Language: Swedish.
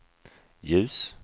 ljus